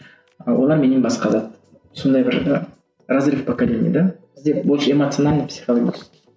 олар менен басқа зат сондай бір ы разрыв поколений да бізде больше эмоционально психологический